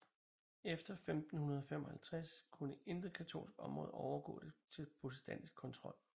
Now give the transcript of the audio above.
Efter 1555 kunne intet katolsk område overgå til protestantisk kontrol